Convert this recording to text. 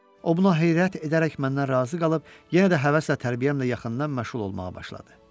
O buna heyrət edərək məndən razı qalıb, yenə də həvəslə tərbiyəmlə yaxından məşğul olmağa başladı.